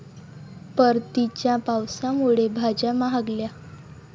परतीच्या पावसामुळे भाज्या महागल्या